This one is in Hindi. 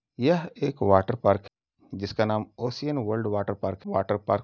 यह एक वाटर पार्क है। जिसका नाम ocean world water park water park --